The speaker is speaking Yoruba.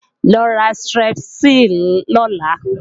Lo ra Strepsil lọ́la!